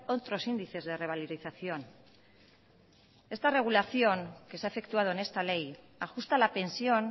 otros índices de revalorización esta regulación que se ha efectuado en esta ley ajusta la pensión